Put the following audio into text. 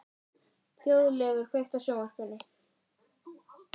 Þjóðleifur, kveiktu á sjónvarpinu.